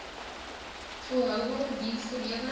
volhoubare dienste lewering